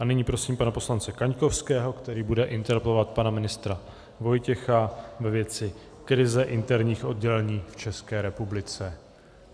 A nyní prosím pana poslance Kaňkovského, který bude interpelovat pana ministra Vojtěcha ve věci krize interních oddělení v České republice.